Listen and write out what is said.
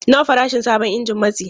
Nawa farashin sabon injin matsi?